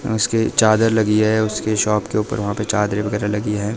उसके चादर लगी है। उसके शॉप के ऊपर वहां पे चादरें वगैरा लगी हैं।